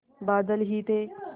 बादल ही थे